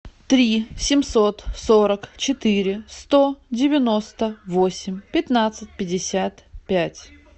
три семьсот сорок четыре сто девяносто восемь пятнадцать пятьдесят пять